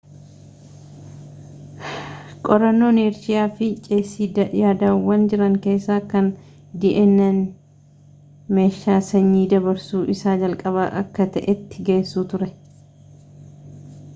qorannoon heersheeyi fi cheesii yaadawwan jiraan keessa kan dna'n meeshaa sanyii dabarsuu isaa jalqaba akka ta'etti geessu ture